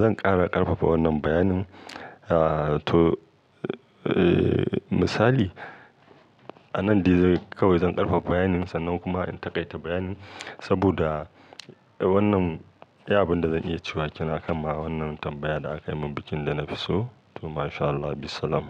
zan ƙara ƙarfafa wannan bayanin. Ah to, eh misali, a nan dai kawai zan ƙarfafa bayanin sannan kuma in taƙaita bayanin saboda wannan, iya abin da zan iya cewa kenan a kan ma wannan tambaya da aka yi min akan bikin da na fi so. To mashallah, bissalam.